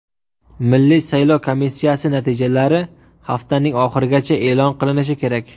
Milliy saylov komissiyasi natijalari haftaning oxirigacha e’lon qilinishi kerak.